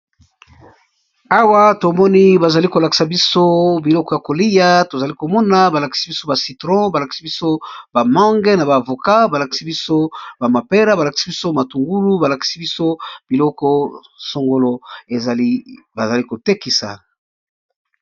Awa to moni ba zali ko lakisa biso biloko ya kolia. To zali ko mona ba lakisi biso ba citron ba lakisi biso ba mange na ba voka. Ba lakisi biso ba mapera ba lakisi biso matungulu. Ba lakisi biso biloko sangolo. Ezali ba zali kotekisa.